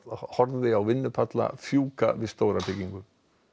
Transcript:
horfði á vinnupalla fjúka við stóra byggingu